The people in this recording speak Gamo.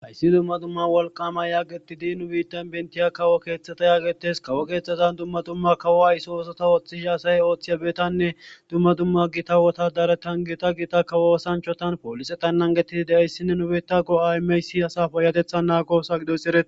Hayssi dumma dumma walqama yaagetidi nu biittan bentiya kawo keeththata yaagetes kawo keeththazan dumma dumma kawo ayso osota ooththish asaye ooththiya beetanne dumma dumma gita wotadaretan gita gita kawo osanchotan poolise tannan gettidi de'ayssinne nubeta go'aymeysi haysa paayatethan naago oso gidoysi eretes